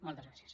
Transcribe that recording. moltes gràcies